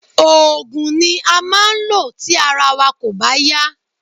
Oògùn ni a máa ń lò tí ara wa kò bá yá